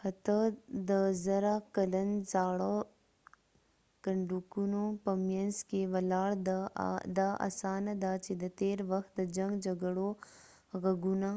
حتی د زره کلن زاړه کنډکونو په مینځ کې ولاړ دا اسانه ده چې د تېر وخت د جنګ جګړو غږونه